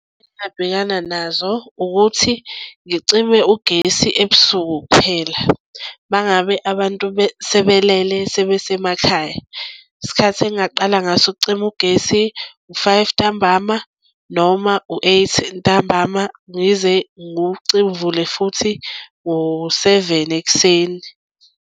Engabhekana nazo ukuthi ngicime ugesi ebusuku kuphela uma ngabe abantu sebelele sebesemakhaya. Isikhathi engingaqala ngaso ukucima ugesi u-five ntambama noma u-eight ntambama. Ngize uvule futhi ngoseveni ekuseni.